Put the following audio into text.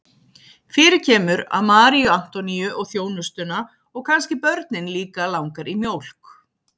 Fyrir kemur að Maríu Antoníu og þjónustuna og kannski börnin líka langar í mjólk.